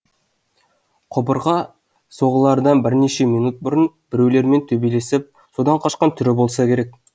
құбырға соғылардан бірнеше минут бұрын біреулермен төбелесіп содан қашқан түрі болса керек